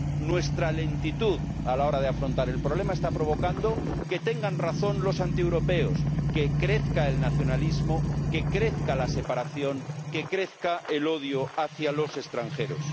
Nuestra lentitud a la hora de afrontar el problema está provocando que tengan razón los antieuropeos, que crezca el nacionalismo, que crezca la separación, que crezca el odio hacia los extranjeros.